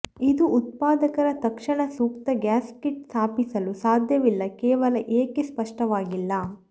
ಇದು ಉತ್ಪಾದಕರ ತಕ್ಷಣ ಸೂಕ್ತ ಗ್ಯಾಸ್ಕೆಟ್ ಸ್ಥಾಪಿಸಲು ಸಾಧ್ಯವಿಲ್ಲ ಕೇವಲ ಏಕೆ ಸ್ಪಷ್ಟವಾಗಿಲ್ಲ